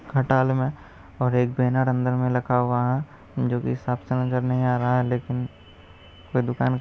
खटाल में और एक बैनर अंदर में रखा हुआ है जोकि साफ़ समझ में नहीं आ रहा है लेकिन कोई दुकान--